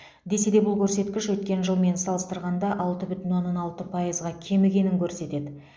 десе де бұл көрсеткіш өткен жылмен салыстырғанда алты бүтін оннан алты пайызға кемігенін көрсетеді